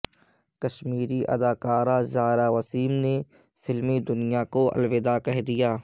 کشمیری اداکارہ زائرہ وسیم نے فلمی دنیا کو الوداع کہہ دیا